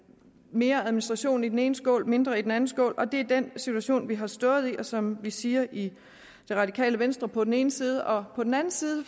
mere administration i den ene skål og mindre i den anden skål og det er den situation vi har stået i og som vi siger i det radikale venstre på den ene side og på den anden side